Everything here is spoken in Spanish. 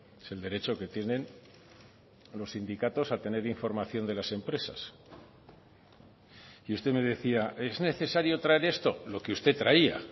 es el derecho que tienen los sindicatos a tener información de las empresas y usted me decía es necesario traer esto lo que usted traía